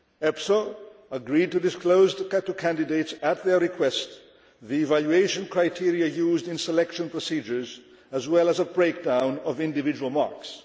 EPSO agreed to disclose to candidates, at their request, the evaluation criteria used in selection procedures, as well as a breakdown of individual marks.